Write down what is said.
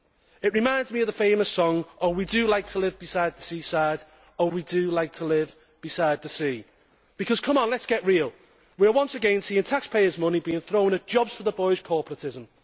It reminds me of the famous song Oh we do like to live beside the seaside, oh we do like to live beside the sea' because come on, let us get real we are once again seeing taxpayers' money being thrown at jobs for the boys' corporatism.